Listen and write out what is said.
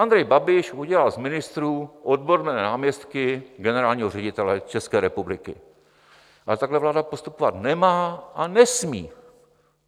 Andrej Babiš udělal z ministrů odborné náměstky generálního ředitele České republiky, ale takhle vláda postupovat nemá a nesmí.